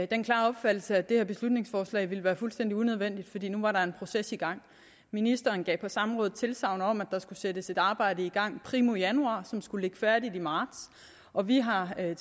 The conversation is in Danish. den klare opfattelse at det her beslutningsforslag ville være fuldstændig unødvendigt fordi der nu var en proces i gang ministeren gav på samrådet tilsagn om at der skulle sættes et arbejde i gang primo januar som skulle ligge færdigt i marts og vi har ad